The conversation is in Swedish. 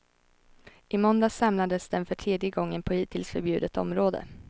I måndags samlades den för tredje gången på hittills förbjudet område.